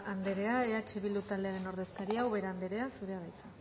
andrea eh bildu taldearen ordezkaria ubera andrea zurea da hitza